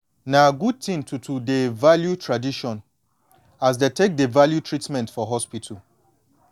na good thin to to dey value tradition as dey take value treatment for hospital